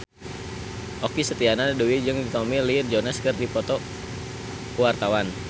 Okky Setiana Dewi jeung Tommy Lee Jones keur dipoto ku wartawan